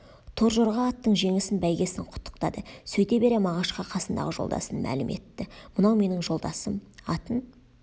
торжорға аттың жеңісін бәйгесін құттықтады сөйте бере мағашқа қасындағы жолдасын мәлім етті мынау менің жолдасым атын